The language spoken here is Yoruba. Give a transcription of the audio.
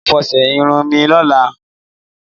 Màá fọṣe sírun mi lólàa